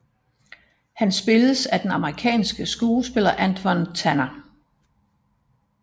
Han spilles af den amerikanske skuespiller Antwon Tanner